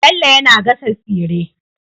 Bello yAna gasa tsire